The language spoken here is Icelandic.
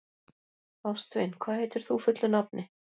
Ástvin, hvað heitir þú fullu nafni?